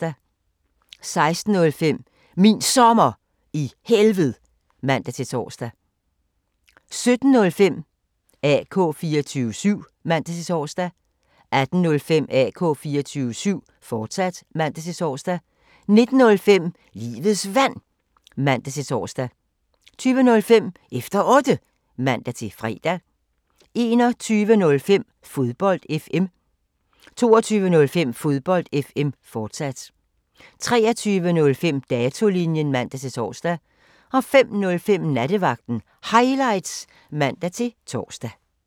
16:05: Min Sommer i Helved (man-tor) 17:05: AK 24syv (man-tor) 18:05: AK 24syv, fortsat (man-tor) 19:05: Livets Vand (man-tor) 20:05: Efter Otte (man-fre) 21:05: Fodbold FM 22:05: Fodbold FM, fortsat 23:05: Datolinjen (man-tor) 05:05: Nattevagten Highlights (man-tor)